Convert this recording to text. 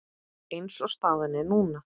Eins og staðan er núna.